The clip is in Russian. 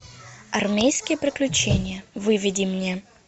армейские приключения выведи мне